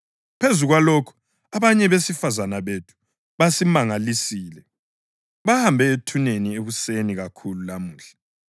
Phezu kwalokhu, abanye besifazane bethu basimangalisile. Bahambe ethuneni ekuseni kakhulu lamuhla,